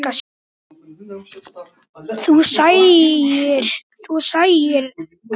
Þú sæir eftir því.